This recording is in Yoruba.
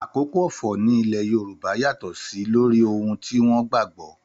Àkókò ọ̀fọ̀ ní ilẹ̀ Yorùbá yàtọ̀ sí lórí ohun tí wọ́n gbà gbọ́